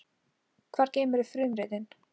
Hvar geymirðu frumritin?